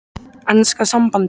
Enska sambandið?